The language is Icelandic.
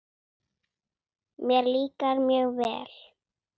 Mér líkar mjög vel.